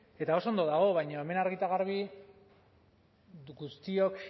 eta oso ondo dago baina hemen argi eta garbi guztiok